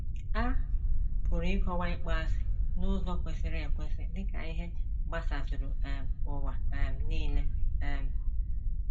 A pụrụ ịkọwa ịkpọasị n’ụzọ kwesịrị ekwesị dị ka ihe gbasazuru um ụwa um nile. um